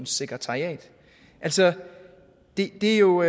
sekretariat altså det er jo